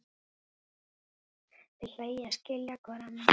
Þeir hlæja, skilja hvor annan.